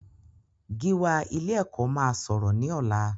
Gíwá ilé-ẹ̀kọ́ máa sọ̀rọ̀ ní ọ̀la.